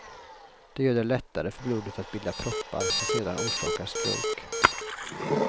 Det gör det lättare för blodet att bilda proppar som sedan orsakar stroke.